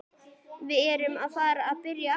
Við erum að fara að byrja aftur.